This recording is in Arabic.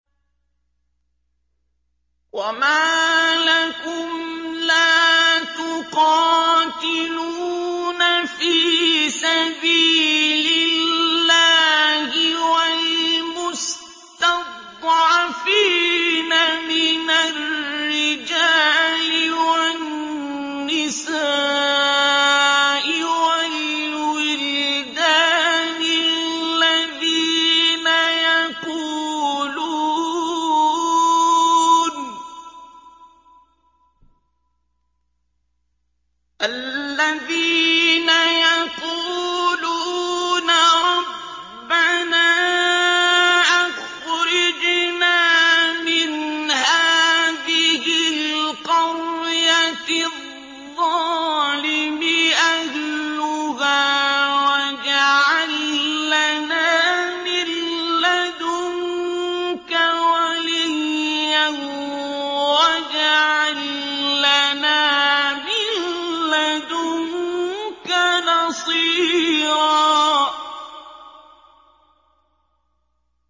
وَمَا لَكُمْ لَا تُقَاتِلُونَ فِي سَبِيلِ اللَّهِ وَالْمُسْتَضْعَفِينَ مِنَ الرِّجَالِ وَالنِّسَاءِ وَالْوِلْدَانِ الَّذِينَ يَقُولُونَ رَبَّنَا أَخْرِجْنَا مِنْ هَٰذِهِ الْقَرْيَةِ الظَّالِمِ أَهْلُهَا وَاجْعَل لَّنَا مِن لَّدُنكَ وَلِيًّا وَاجْعَل لَّنَا مِن لَّدُنكَ نَصِيرًا